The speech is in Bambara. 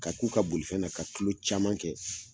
K'a k'u ka bolifɛn na ka kilo caman kɛ